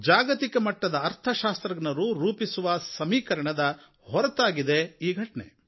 ಜಾಗತಿಕ ಮಟ್ಟದ ಅರ್ಥಶಾಸ್ತ್ರಜ್ಞರು ರೂಪಿಸುವ ಸಮೀಕರಣಗಳ ಹೊರತಾಗಿ ಇದೆ ಈ ಘಟನೆ